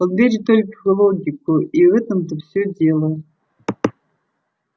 он верит только в логику и в этом-то всё дело